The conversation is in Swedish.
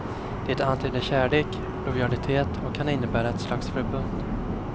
Det antyder kärlek, lojalitet och kan innebära ett slags förbund.